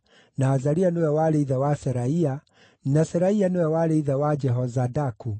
na Azaria nĩwe warĩ ithe wa Seraia, na Seraia nĩwe warĩ ithe wa Jehozadaku.